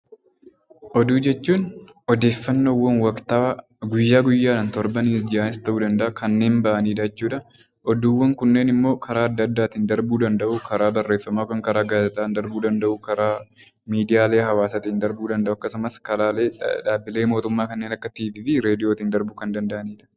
Oduu jechuun odeeffannoowwan waktaawaa guyyaa guyyaan, ji'a, waggaa ta'uu danda'a kanneen bahan jechuudha. Oduuwwan kunneen immoo karaa addaa addaa bahuu danda'u karaa barreeffamaa, karaa gaazexaa bahuu danda'u, karaalee miidiyaalee hawaasaa darbuu danda'a, karaa waajiraalee mootummaa kanneen akka raadiyoo fi tiivii darbuu kan danda'udha.